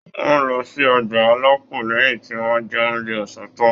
Wọn lọ sí ọgbà alápò lẹyìn tí wọn jẹ oúnjẹ ọsán tan.